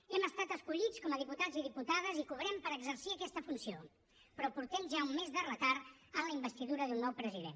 hem estat escollits com a diputats i diputades i cobrem per exercir aquesta funció però portem ja un mes de retard en la investidura d’un nou president